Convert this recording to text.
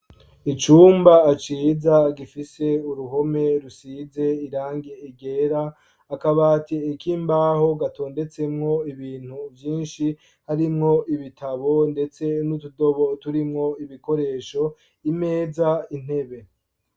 Icumba ciza gifise uruhome rusize irangi ryera , akabati k'imbaho gatondetsemwo ibintu vyinshi, harimwo ibitabo , ndetse n'utudobo turimwo ibikoresho, imeza , intebe.